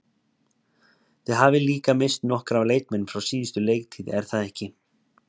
Þið hafið líka misst nokkra leikmenn frá síðustu leiktíð er það ekki?